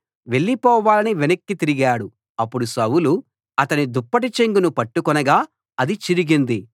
వెళ్లిపోవాలని వెనక్కి తిరిగాడు అప్పుడు సౌలు అతని దుప్పటి చెంగును పట్టుకొనగా అది చిరిగింది